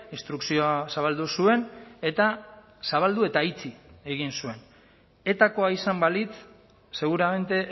instrukzioa zabaldu zuen eta zabaldu eta itxi egin zuen etakoa izan balitz seguramente